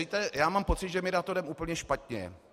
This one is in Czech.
Víte, já mám pocit, že my na to jdeme úplně špatně.